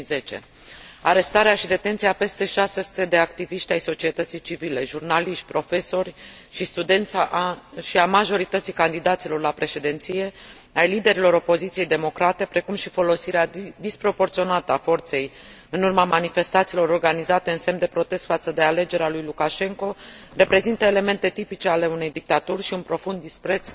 2010. Arestarea și detenția a peste 600 de activiști ai societății civile, jurnaliști, profesori și studenți și a majorității candidaților la președinție, ai liderilor opoziției democrate, precum și folosirea disproporționată a forței în urma manifestațiilor organizate în semn de protest față de alegerea lui Lukashenko, reprezintă elemente tipice ale unei dictaturi și un profund dispreț